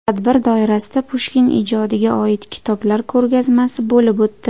Tadbir doirasida Pushkin ijodiga oid kitoblar ko‘rgazmasi bo‘lib o‘tdi.